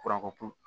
Kuranko